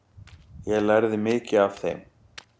Ég lærði mikið af þeim.